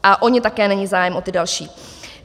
A o ně také není zájem, o ty další.